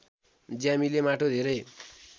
ज्यामीले माटो धेरै